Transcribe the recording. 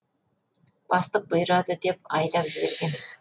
бастық бұйырады деп айдап жіберген